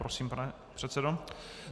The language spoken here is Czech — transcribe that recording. Prosím, pane předsedo.